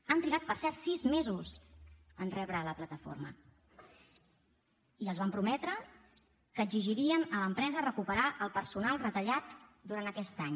han trigat per cert sis mesos en rebre la plataforma i els van prometre que exigirien a l’empresa recuperar el personal retallat durant aquest any